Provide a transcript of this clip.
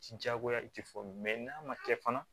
Ti diyagoya i ti fɔ n'a ma kɛ fana